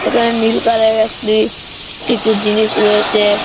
এখানে নীল কালারের